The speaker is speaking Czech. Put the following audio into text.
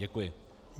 Děkuji.